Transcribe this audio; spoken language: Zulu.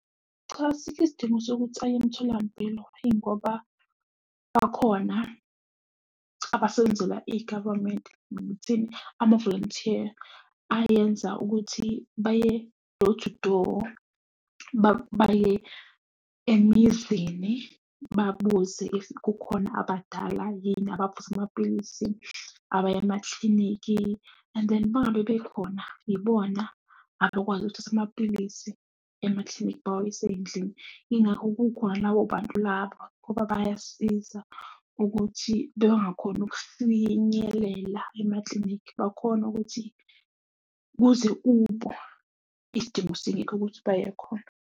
Cha, asikho isidingo sokuthi aye emtholampilo ingoba akhona. Abasebenzela igavamenti, noma ukuthini, amavolontiya ayenza ukuthi baye door to door, baye emizini, babuze if kukhona abadala yini abaphuza amapilisi abaya emaklinikhi? And then uma ngabe bekhona, ibona abakwazi ukuyothatha amapilisi emaklinikhi bawayise ey'ndlini. Yingakho kukhona labo bantu labo, ngoba bayasiza ukuthi bengakhoni ukufinyelela emaklinikhi, bakhone ukuthi uze kubo, isidingo singekho ukuthi baye khona.